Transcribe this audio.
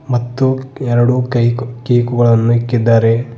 ಮತ್ತು ಎರಡು ಕೈಕು ಕೇಕ್ ಗಳನ್ನು ಇಕ್ಕಿದ್ದಾರೆ.